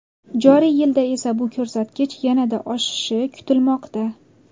Joriy yilda esa bu ko‘rsatkich yanada oshishi kutilmoqda.